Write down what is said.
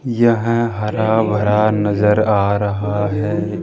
यह हरा भरा नजर आ रहा है।